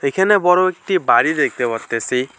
এখানে বড়ো একটি বাড়ি দেখতে পারতেছি।